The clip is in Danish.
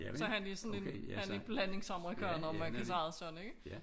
Så han er sådan en han en blandingsamerikaner om man kan sige sådan ikke